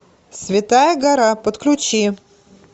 святая гора подключи